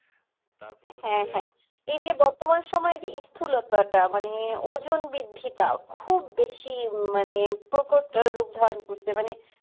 হ্যাঁ হ্যাঁ এই যে বর্তমান সময়ে যে স্থুলতাটা মানে ওজন বৃদ্ধিটা খুব বেশি মানে প্রকট রূপ ধারণ করছে মানে